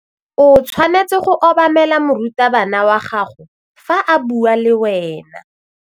O tshwanetse go obamela morutabana wa gago fa a bua le wena.